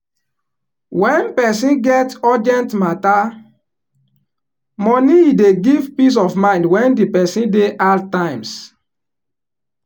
wen person get urgent mata moni e dey give peace of mind wen di person dey hard times.